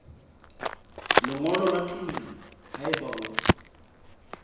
lengolo la tumello haeba o